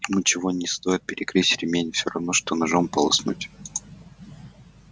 ему ничего не стоит перегрызть ремень все равно что ножом полоснуть